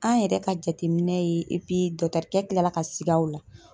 An yɛrɛ ka jateminɛ ye dɔkutɛrikɛ kila ka sig'a o la .